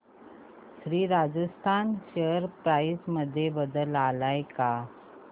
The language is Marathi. श्री राजस्थान शेअर प्राइस मध्ये बदल आलाय का